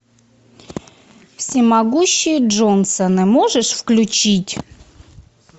всемогущие джонсоны можешь включить